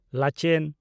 ᱞᱟᱪᱮᱱ